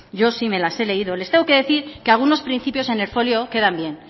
yo sí me las he leído les tengo que decir que algunos principios en el folio quedan bien